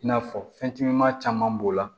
I n'a fɔ fɛn cama caman b'o la